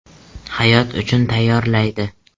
Hayot uchun tayyorlaydi.